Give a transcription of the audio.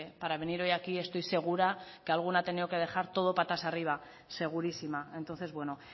para venir hoy aquí estoy segura que alguna ha tenido que dejar todo patas arriba segurísima entonces bueno